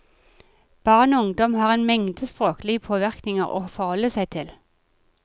Barn og ungdom har en mengde språklige påvirkninger å forholde seg til.